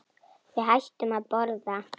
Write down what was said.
Við hættum að borða.